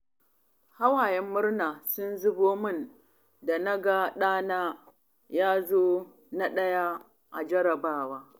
Hawayen murna sun zubo min da na ga ɗana ya zo na ɗaya a jarrabawa.